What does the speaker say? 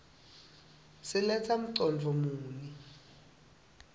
siletsa mcondvo muni